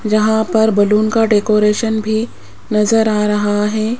जहां पर बलून का डेकोरेशन भी नजर आ रहा है।